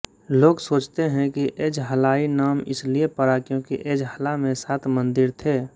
लोग सोचते हैं कि एज़हलाई नाम इसलिए पड़ा क्योंकि एज़हला में सात मंदिर थे